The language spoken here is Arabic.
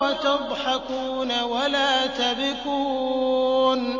وَتَضْحَكُونَ وَلَا تَبْكُونَ